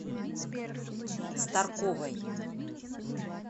старковой